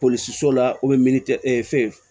Polisiso la fɛn